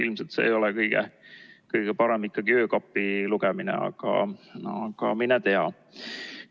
Ilmselt see ei ole kõige parem öökapilugemine, aga mine tea.